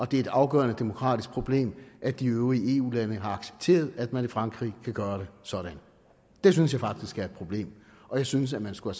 det er et afgørende demokratisk problem at de øvrige eu lande har accepteret at man i frankrig kan gøre det sådan det synes jeg faktisk er et problem og jeg synes at man skulle